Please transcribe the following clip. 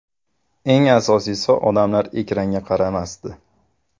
Eng asosiysi odamlar ekranga qaramasdi.